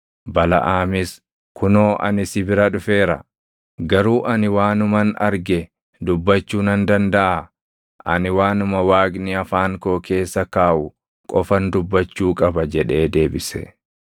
Balaʼaamis, “Kunoo ani si bira dhufeera. Garuu ani waanuman arge dubbachuu nan dandaʼaa? Ani waanuma Waaqni afaan koo keessa kaaʼu qofan dubbachuu qaba” jedhee deebise.